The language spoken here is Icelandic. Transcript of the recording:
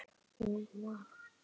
Hún var padda.